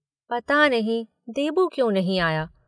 पता नहीं, देबू क्यों नहीं आया?